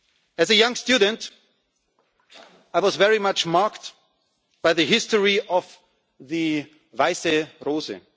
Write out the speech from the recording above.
future. As a young student, I was very much marked by the history of the Weisse